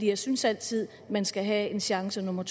jeg synes altid man skal have en chance nummer